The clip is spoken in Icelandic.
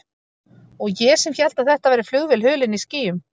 Og ég sem hélt að þetta væri flugvél hulin í skýjum.